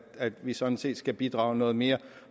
vi sådan set skal bidrage noget mere